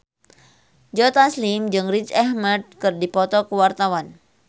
Joe Taslim jeung Riz Ahmed keur dipoto ku wartawan